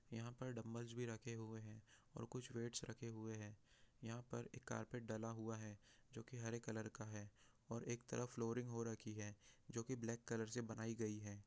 यहाँ पर डंबल्स रखे है और कुछ वेइट्स रखे है और यहाँ पर एक कार्पेट डाला हुआ है जोहरे कलर का है और एक तरफ फ्लोरिंग हो राखी है जो की ब्लैक कलर से बनाई गई हैं।